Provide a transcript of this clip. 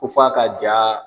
K'u faa ka ja.